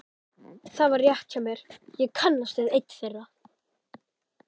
Það var rétt hjá mér, ég kannast við einn þeirra.